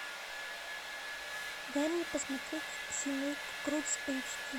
дай мне посмотреть семейка крудс эйч ди